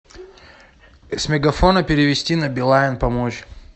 с мегафона перевести на билайн помочь